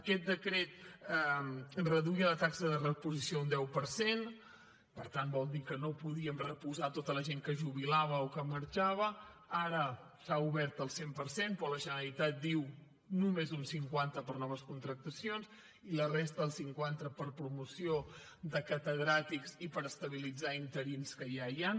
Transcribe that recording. aquest decret reduïa la taxa de reposició un deu per cent per tant vol dir que no podíem reposar tota la gent que es jubilava o que marxava ara s’ha obert al cent per cent però la generalitat diu que només un cinquanta per a noves contractacions i la resta el cinquanta per a promoció de catedràtics i per estabilitzar interins que ja hi han